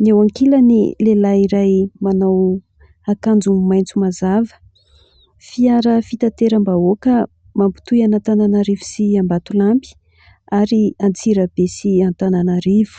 ny eo ankilan'ny lehilahy iray manao akanjo maintso mazava fiara fitateram-bahoaka mampitoy an'antananarivo sy ambatolampy ary antsirabe sy Antananarivo